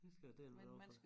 Det skal jeg dælme love for